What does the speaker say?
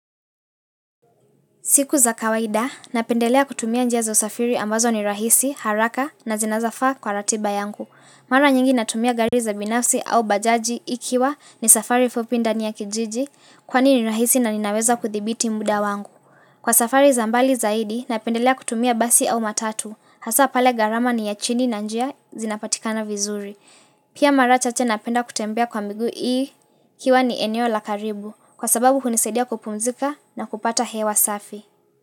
Siku za kawaida, napendelea kutumia njia za usafiri ambazo ni rahisi, haraka na zinazofaa kwa ratiba yangu. Mara nyingi natumia gari za binafsi au bajaji ikiwa ni safari fupi ndani ya kijiji kwani ni rahisi na ninaweza kuthibiti muda wangu. Kwa safari za mbali zaidi, napendelea kutumia basi au matatu, hasaa pale garama ni ya chini na njia zinapatikana vizuri. Pia mara chache napenda kutembea kwa miguu ikiwa ni eneo la karibu kwa sababu hunisaidia kupumzika na kupata hewa safi.